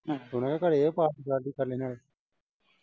ਹੁਣ ਉਹ ਘਰੇ ਆ ਪਾਰਟੀ ਸਾਰਟੀ ਕਰ ਲੈਨੇ ਆਂ।